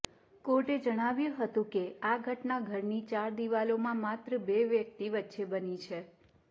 કોર્ટે જણાવ્યું હતું કે આ ઘટના ઘરની ચાર દીવાલોમાં માત્ર બે વ્યક્તિ વચ્ચે બની છે